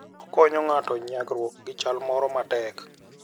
Okonyo ng'ato nyagruok gi chal moro matek.